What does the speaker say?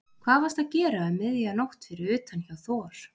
Hvað varstu að gera um miðja nótt fyrir utan hjá Þor